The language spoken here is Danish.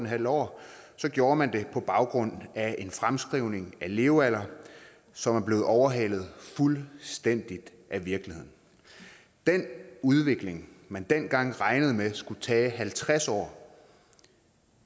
halv år gjorde man det på baggrund af en fremskrivning af levealderen som er blevet overhalet fuldstændig af virkeligheden den udvikling man dengang regnede med skulle tage halvtreds år